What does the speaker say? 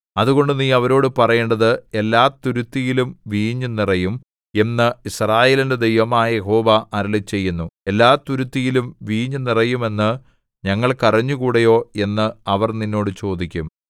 അതുകൊണ്ട് നീ അവരോടു പറയേണ്ടത് എല്ലാതുരുത്തിയിലും വീഞ്ഞു നിറയും എന്ന് യിസ്രായേലിന്റെ ദൈവമായ യഹോവ അരുളിച്ചെയ്യുന്നു എല്ലാതുരുത്തിയിലും വീഞ്ഞു നിറയും എന്ന് ഞങ്ങൾക്കറിഞ്ഞുകൂടയോ എന്ന് അവർ നിന്നോട് ചോദിക്കും